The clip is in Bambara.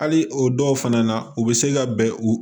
Hali o dɔw fana na u bɛ se ka bɛn u